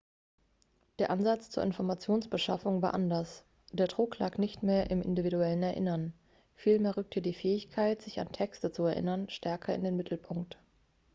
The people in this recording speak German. der ansatz zur informationsbeschaffung war anders der druck lag nicht mehr im individuellen erinnern vielmehr rückte die fähigkeit sich an texte zu erinnern stärker in den mittelpunkt